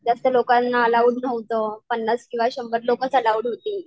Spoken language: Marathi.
जास्त लोकांना अलाऊड नव्हतं. पन्नास किंवा शंभर लोकंच अलाऊड होती.